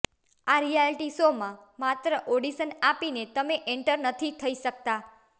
આ reality show માં માત્ર ઓડીશન આપીને તમે એન્ટર નથી થઇ શકતા